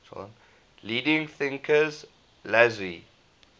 leading thinkers laozi